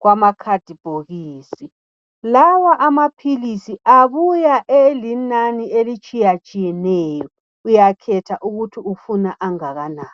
kwamakhadibhokisi lawa amaphilisi abuya elinani elitshiya tshiyeneyo uyakhetha ukuthi ufuna angakanani.